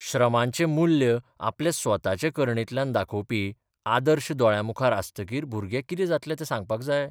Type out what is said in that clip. श्रमांचें मुल्य आपले स्वताचे करणेंतल्यान दाखोवपी 'आदर्श 'दोळ्यांमुखार आस्तगीर भुरगे कितें जातले तें सांगपाक जाय?